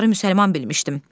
Onları müsəlman bilmişdim.